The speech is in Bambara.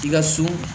I ka so